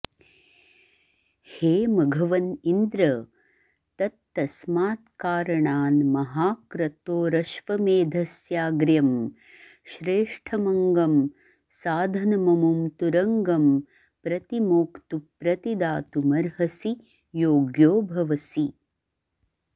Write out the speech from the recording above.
हे मघवन् इन्द्र तत्तस्मात्कारणान्महाक्रतोरश्वमेधस्याग्र्यं श्रेष्ठमङ्गं साधनममुं तुरंगं प्रतिमोक्तु प्रतिदातुमर्हसि योग्यो भवसि